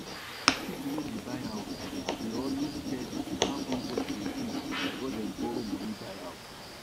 people wey dey buy house dey always check how interest dey be before dem borrow money buy house